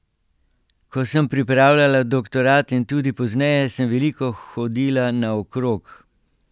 Ko sem pripravljala doktorat in tudi pozneje, sem veliko hodila naokrog.